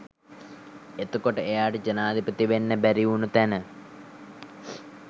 එතකොට එයාට ජනාධිපති වෙන්න බැරි වුණු තැන